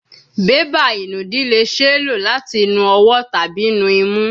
Beba inudi le ṣee lo lati nu ọwọ tabi nu imu